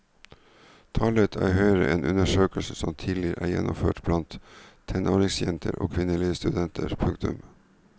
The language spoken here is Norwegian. Tallet er høyere enn undersøkelser som tidligere er gjennomført blant tenåringsjenter og kvinnelige studenter. punktum